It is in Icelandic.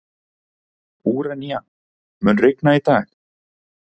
Úranía, mun rigna í dag?